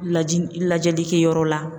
Laji lajɛlikɛyɔrɔ la.